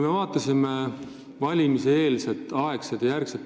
Auväärt peaminister!